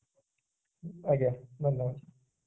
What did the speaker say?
ଆଜ୍ଞା ଧନ୍ୟବାଦ